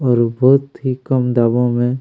और बहोत ही कम दामो में--